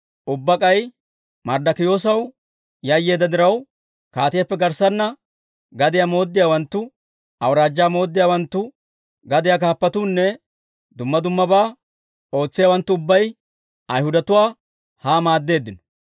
Ubbaa k'ay Marddokiyoosaw yayyeedda diraw, kaatiyaappe garssanna gadiyaa mooddiyaawanttu, awuraajjaa mooddiyaawanttu gadiyaa kaappatuunne duma dumabaa ootsiyaawanttu ubbay Ayhudatuwaa haa maaddeeddino.